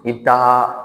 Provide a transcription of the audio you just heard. I bɛ taa